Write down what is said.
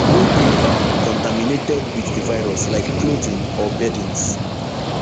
wey dey um contaminated wit di virus like clothing or beddings